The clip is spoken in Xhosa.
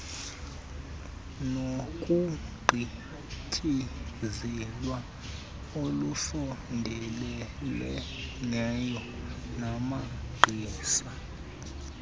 nokugqityezelwa olusondeleleneyo namagqiza